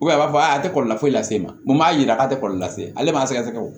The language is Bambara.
a b'a fɔ a tɛ kɔlɔlɔ foyi lase e ma mun b'a jira k'a tɛ kɔlɔlɔ lase ale ma sɛgɛsɛgɛ